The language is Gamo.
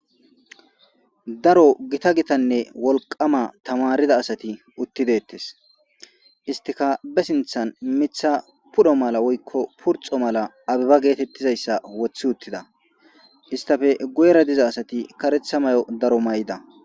daro gita gitanne wolqama tamarida asati uttideettes istika be sinthan mitha pudho mala woykko purxo mala abiba geetettizayssa wothi uttida istafe guyera diza asati karetha mayo daro may7da